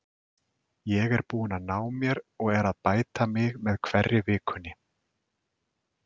Ég er búinn að ná mér og er að bæta mig með hverri vikunni.